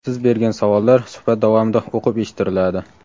Siz bergan savollar suhbat davomida o‘qib eshittiriladi.